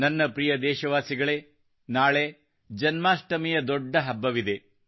ನನ್ನ ಪ್ರಿಯ ದೇಶವಾಸಿಗಳೇ ನಾಳೆ ಜನ್ಮಾಷ್ಟಮಿಯ ದೊಡ್ಡ ಹಬ್ಬವಿದೆ